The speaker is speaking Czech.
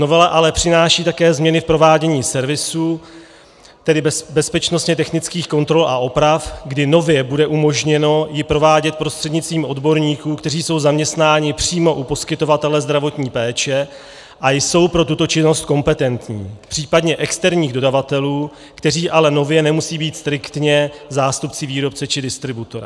Novela ale přináší také změny v provádění servisu, tedy bezpečnostně technických kontrol a oprav, kdy nově bude umožněno ji provádět prostřednictvím odborníků, kteří jsou zaměstnáni přímo u poskytovatele zdravotní péče a jsou pro tuto činnost kompetentní, případně externích dodavatelů, kteří ale nově nemusí být striktně zástupci výrobce či distributora.